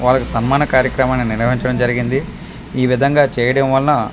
వాళ్లకి సన్మాన కార్యక్రమాన్ని నిర్వహించడం జరిగింది ఈవిధంగా చేయడం వలనా--